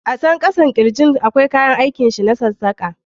A can kasan kirjin akwai kayan aikin sa na sassaka.